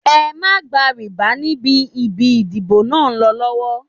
Ẹ má gba rìbá níbi ibi ìdìbò náà lọ́la.